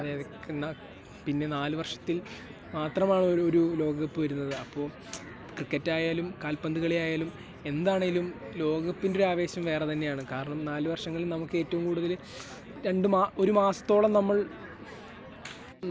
അതേ... പിന്നെ നാലുവർഷത്തിൽ മാത്രമാണല്ലോ ഒരു ലോകകപ്പ് വരുന്നത്. അപ്പോൾ ക്രിക്കറ്റ് ആയാലും കാൽപ്പന്ത് കളിയായാലും എന്താണേലും ലോകകപ്പിൻ്റെ ഒരാവേശം വേറെ തന്നെയാണ്. കാരണം , നാല് വർഷങ്ങൾ നമുക്ക് ഏറ്റവും കൂടുതൽ രണ്ടു മാ... ഒരു മാസത്തോളം നമ്മൾ